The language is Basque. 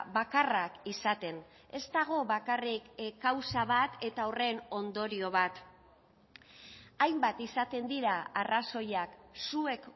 bakarrak izaten ez dago bakarrik kausa bat eta horren ondorio bat hainbat izaten dira arrazoiak zuek